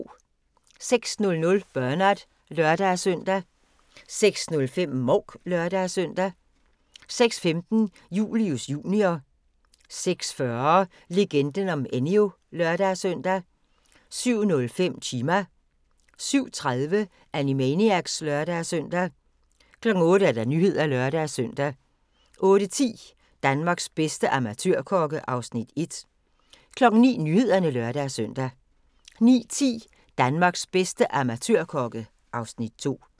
06:00: Bernard (lør-søn) 06:05: Mouk (lør-søn) 06:15: Julius Jr. 06:40: Legenden om Enyo (lør-søn) 07:05: Chima 07:30: Animaniacs (lør-søn) 08:00: Nyhederne (lør-søn) 08:10: Danmarks bedste amatørkokke (Afs. 1) 09:00: Nyhederne (lør-søn) 09:10: Danmarks bedste amatørkokke (Afs. 2)